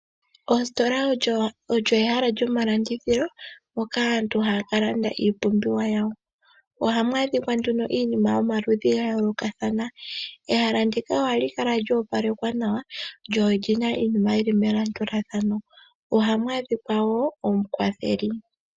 Oositola olyo ehala lyomalandithilo moka aantu haya ka landa iiipumbiwa yawo. Ohamu adhikwa nduno iinima yomaludhi ga yoolokathana. Ehala ndika ohali kala lya opalekwa nawa lyo olyina iinima yili melandulathano. Ohamu adhikwa wo omukwatheli.